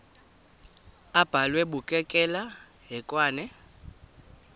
abhalwe bukekela hekwane